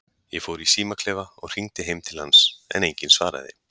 Ég fór í símaklefa og hringdi heim til hans, en enginn svaraði.